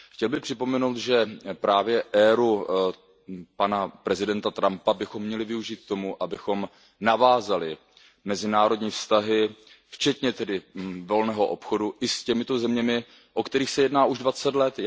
Chtěl bych připomenout, že právě éru pana prezidenta Trumpa bychom měli využít k tomu, abychom navázali mezinárodní vztahy, včetně volného obchodu, s těmito zeměmi, o kterých se jedná už dvacet let.